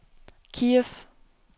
Kiev